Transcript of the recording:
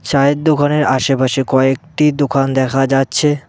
চায়ের দোকানের আশেপাশে কয়েকটি দোকান দেখা যাচ্ছে।